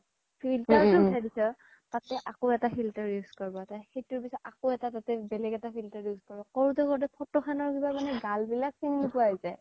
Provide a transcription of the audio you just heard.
filter তে উঠাই দিছ তাতে আকৌ এটা filter use কৰিব সেইটোৰ পিছত আকৌ তাতে বেলেগ এটা filter use কৰিব কৰোঁতে কৰোঁতে ফটো খনৰ কিবা মানে গাল বিলাক চিনি নোপোৱা হৈ যায়